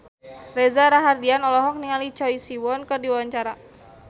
Reza Rahardian olohok ningali Choi Siwon keur diwawancara